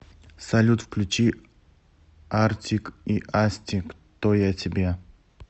салют включи артик и асти кто я тебе